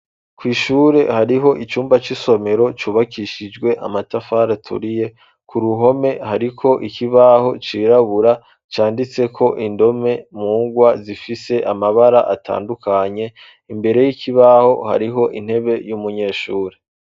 Kw'ishure hariho icumba c'isomero cyubakishijwe amatafara aturiye. Ku ruhome hariko ikibaho cirabura canditse ko indome mungwa zifise amabara atandukanye imbere y'ikibaho hariho intebe y'umunyeshuri.